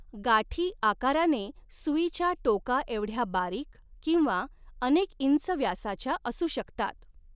गाठी आकाराने सुईच्या टोकाएवढ्या बारीक किंवा अनेक इंच व्यासाच्या असू शकतात.